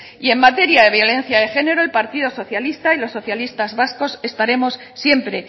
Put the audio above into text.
y en materia de violencia de género el partido socialista y los socialistas vascos estaremos siempre